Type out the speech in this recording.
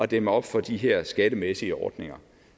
dæmme op for de her skattemæssige ordninger